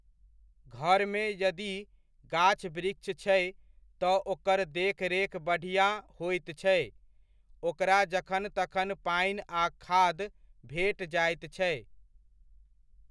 घरमे यदि गाछ वृक्ष छै, तऽ ओकर देखरेख बढ़िआँ होइत छै, ओकरा जखन तखन पानि आ खाद भेट जाइत छै।